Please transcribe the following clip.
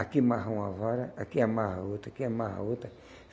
Aqui amarra uma vara, aqui amarra outra, aqui amarra outra.